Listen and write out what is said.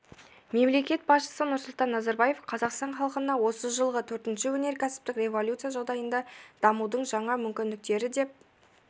мемлекет басшысы нұрсұлтан назарбаев қазақстан халқына осы жылғы төртінші өнеркәсіптік революция жағдайындағы дамудың жаңа мүмкіндіктері деп